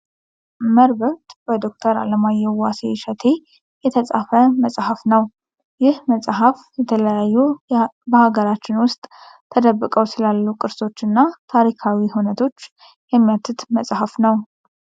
መርበብት በዶክተር አለማየሁ ዋሴ እሸቴ የተፃፈ መፅሐፍ ነው። ይህ መፅሀፍ የተለያዩ በሀገራችን ውስጥ ተደብቀው ስላሉ ቅርሶች እና ታሪካዊ ሁነቶች የሚያትት መፅሀፍ ነው።